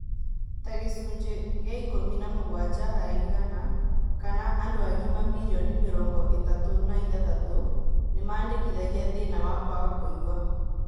Ta gĩcunjĩ gia ikũmi na mũgwanja harĩ igana kana andũ agima mirioni mĩrongo itatũ na ithathatũ nĩmandĩkithagia thĩna wa kwaga kũigua